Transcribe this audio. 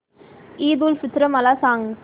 ईद उल फित्र मला सांग